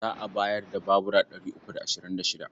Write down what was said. Za a bayar da babura ɗari uku da ashirin da shida.